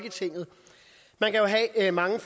er meget